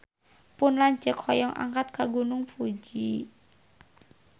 Pun lanceuk hoyong angkat ka Gunung Fuji